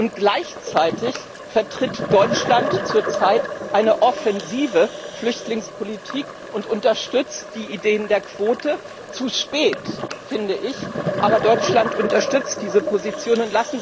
Und gleichzeitig vertritt Deutschland zur Zeit eine offensive Flüchtlingspolitik und unterstützt die Idee der Quote zu spät, finde ich, aber Deutschland unterstützt diese Position.